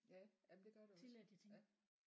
Ja jamen det gør der også ja